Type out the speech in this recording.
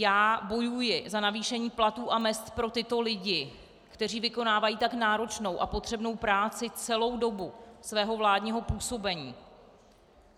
Já bojuji za navýšení platů a mezd pro tyto lidi, kteří vykonávají tak náročnou a potřebnou práci, celou dobu svého vládního působení.